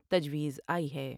تجویز آئی ہے ۔